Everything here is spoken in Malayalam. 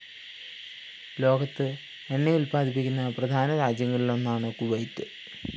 ലോകത്ത് എണ്ണയുല്‍പ്പാദിപ്പിക്കുന്ന പ്രധാന രാജ്യങ്ങളിലൊന്നാണ് കുവൈറ്റ്